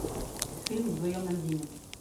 фильм вдвоем на льдине